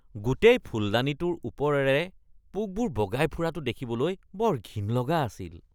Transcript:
গোটেই ফুলদানিটোৰ ওপৰেৰে পোকবোৰ বগাই ফুৰাটো দেখিবলৈ বৰ ঘিণ লগা আছিল।